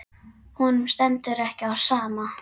Honum stendur ekki á sama.